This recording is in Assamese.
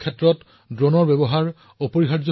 ইয়াৰে বেছিভাগেই ইতিমধ্যেই কাম আৰম্ভ কৰিছে